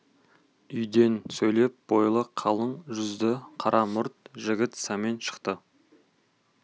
үйден сөйлеп бойлы қылаң жүзді қара мұрт жігіт сәмен шықты